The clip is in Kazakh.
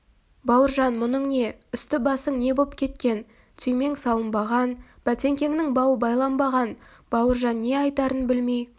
бауыржан мұның не үсті-басың не боп кеткен түймең салынбаған бәтеңкеңнің бауы байланбаған бауыржан не айтарын білмей